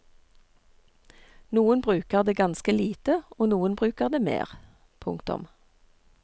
Noen bruker det ganske lite og noen bruker det mer. punktum